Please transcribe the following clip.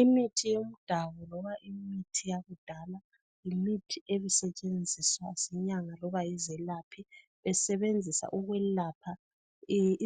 Imithi yomdabuko loba imithi yakudala yimithi ebesentshenziswa zinyanga loba yizelapha besebenzisa ukwelapha